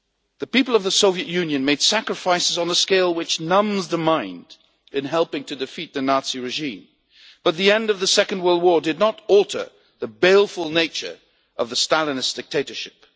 The people of the Soviet Union made sacrifices on a scale which numbs the mind in helping to defeat the Nazi regime, but the end of the Second World War did not alter the baleful nature of the Stalinist dictatorship.